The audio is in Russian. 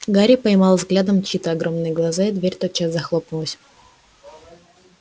гарри поймал взглядом чьи-то огромные глаза и дверь тотчас захлопнулась